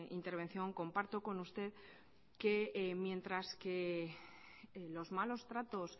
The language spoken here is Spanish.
intervención comparto con usted que mientras que en los malos tratos